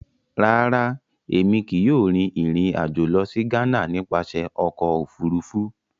Rárá, Èmí kìí yóò rìn ìrìn ajo lọ si Ghana nípasẹ Ọkọ òfurufú